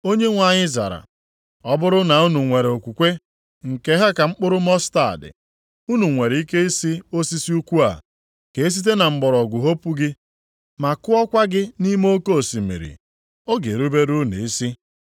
Onyenwe anyị zara, “Ọ bụrụ na unu nwere okwukwe nke ha ka mkpụrụ mọstaadị, unu nwere ike ị sị osisi ukwu a, Ka e site na mgbọrọgwụ hopu gị ma kụọkwa gị nʼime oke osimiri, ọ ga-erubere unu isi.